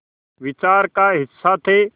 विचार का हिस्सा थे